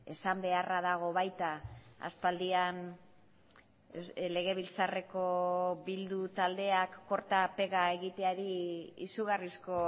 esan beharra dago baita aspaldian legebiltzarreko bildu taldeak korta pega egiteari izugarrizko